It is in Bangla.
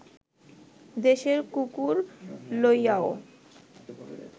দেশের কুকুর লইয়াও